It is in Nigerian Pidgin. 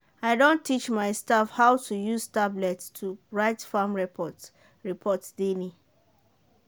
i don teach my staff how to use tablet to write farm report daily.